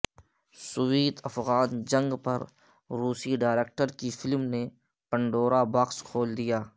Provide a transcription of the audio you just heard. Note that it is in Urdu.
سوویت افغان جنگ پر روسی ڈائریکٹر کی فلم نے پنڈورا باکس کھول دیا